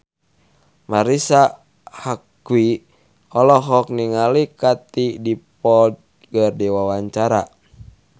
Marisa Haque olohok ningali Katie Dippold keur diwawancara